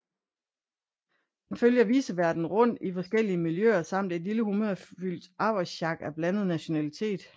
Den følger viceværten rundt i forskellige miljøer samt et lille humørfyldt arbejdssjak af blandet nationalitet